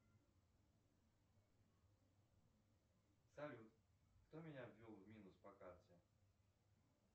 салют кто меня ввел в минус по карте